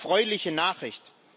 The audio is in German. Eine erfreuliche Nachricht.